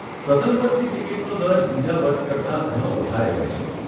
પ્રથમ વર્ગની ટીકીટનો દર બીજા વર્ગ કરતાં ઘણો વધારે હોય છે.